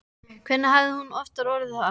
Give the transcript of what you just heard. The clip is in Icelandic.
Hvernig hafði hún aftur orðað það?